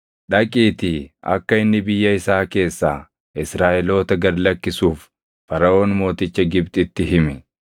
“Dhaqiitii akka inni biyya isaa keessaa Israaʼeloota gad lakkisuuf Faraʼoon mooticha Gibxitti himi.”